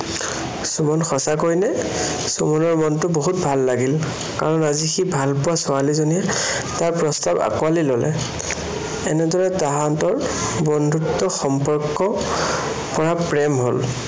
সুমন, সঁচাকৈয়ে নে? সুমনৰ মনটো বহুত ভাল লাগিল। কৰান আজি সি ভালপোৱা ছোৱালীজনীয়ে তাৰ প্ৰস্তাৱ আঁকোৱালি ললে। এনেদৰে তাহাঁতৰ বন্ধুত্ব সম্পৰ্কৰ পৰা প্ৰেম হল।